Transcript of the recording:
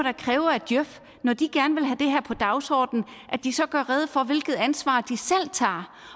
kræve af djøf når de gerne vil have det her på dagsordenen at de så gøre rede for hvilket ansvar de selv tager